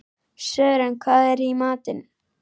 Sören, hvað er í matinn?